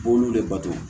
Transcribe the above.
B'olu de bato